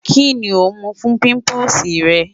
Kini o mu fun pimples rẹ?